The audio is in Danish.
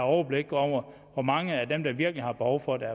overblik over hvor mange af dem der virkelig har behov for det